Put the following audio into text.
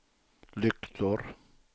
lyktor